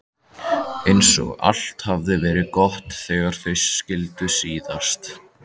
Eins og allt hafi verið gott þegar þau skildu síðast.